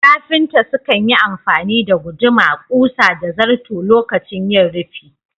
Kafinta sukan yi amfani da guduma, ƙusa da zarto lokacin yin rufi